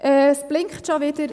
Es blinkt schon wieder.